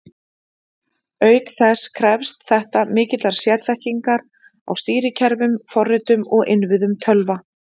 Auk þess krefst þetta mikillar sérþekkingar á stýrikerfum, forritum og innviðum tölva.